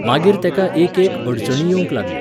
मागीर तेका एक एक अडचणी येवंक लागल्यो